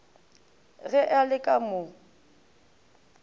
ge a le ka mo